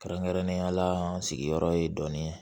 Kɛrɛnkɛrɛnnenya la sigiyɔrɔ ye dɔɔnin ye